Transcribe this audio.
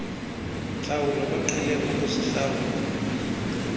ntlawulo baqhele ukuzihlawula